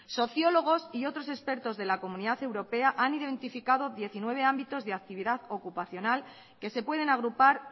sociólogos y otros expertos de la comunidad europea han identificado diecinueve ámbitos de actividad ocupacional que se pueden agrupar